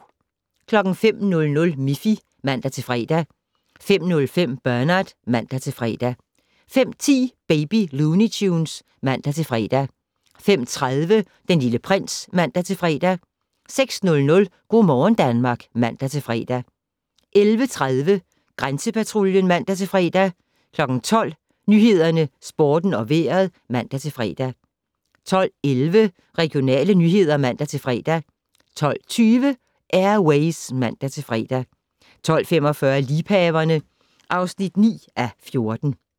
05:00: Miffy (man-fre) 05:05: Bernard (man-fre) 05:10: Baby Looney Tunes (man-fre) 05:30: Den Lille Prins (man-fre) 06:00: Go' morgen Danmark (man-fre) 11:30: Grænsepatruljen (man-fre) 12:00: Nyhederne, Sporten og Vejret (man-fre) 12:11: Regionale nyheder (man-fre) 12:20: Air Ways (man-fre) 12:45: Liebhaverne (9:14)